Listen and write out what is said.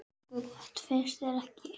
Nokkuð gott, finnst þér ekki?